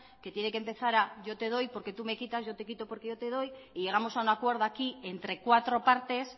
que tiene que empezar a yo te doy porque tú me quitas yo te quito porque yo te doy y llegamos a un acuerdo aquí entre cuatro partes